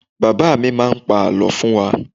Baba mi má pá àlọ́ fún wá